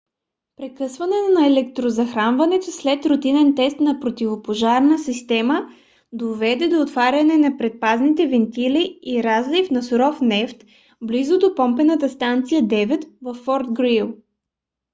прекъсване на електрозахранването след рутинен тест на противопожарната система доведе до отваряне на предпазните вентили и разлив на суров нефт близо до помпена станция 9 във форт грийли